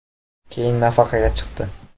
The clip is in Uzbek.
Keyin nafaqaga chiqdi.